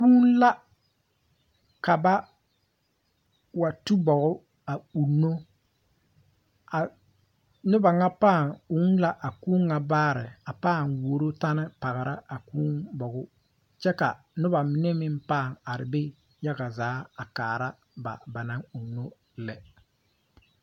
Kũũ la kaba wa tu bogi a uuno a nuba nga paa uu la a kũũ nga baare a paa wuuro teni pɔgra a kũũ bogɔ kye ka nuba mene meng paa arẽ be yaga zaa a kaara ba ba nang uuno lɛ.